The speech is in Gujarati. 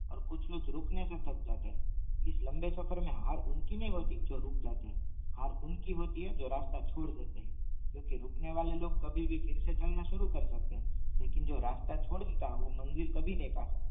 ઈસ લાંબે સફર મે હાર ઉનકી નહીં હોતી જો રૂક જાતે હેય હાર ઉનકી હોતી હે જો રાસ્તા છોડ દેતે હૈ ક્યુકી રૂકને વળે લૉગ ફિરસે ચાલના સુરુ કાર ડેટે હેય લેકિન જો રસ્તા છોડ ડેટા હેય વો મંજિલ કભી નહીં પા સકતે